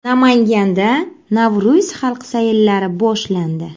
Namanganda Navro‘z xalq sayllari boshlandi.